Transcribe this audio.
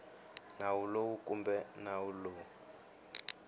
nawu lowu kumbe nawu lowu